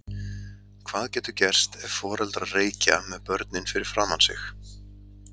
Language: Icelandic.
Hvað getur gerst ef foreldrar reykja með börnin fyrir framan sig?